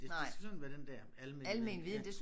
Det det skal sådan være den der almen viden ja